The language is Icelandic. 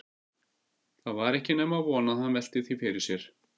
Það var ekki nema von að hann velti því fyrir sér.